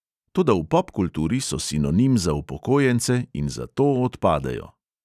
Toda v popkulturi so sinonim za upokojence in zato odpadejo.